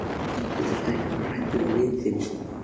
Þú þarft ekki að vera hræddur við vin þinn.